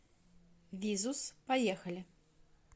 визус поехали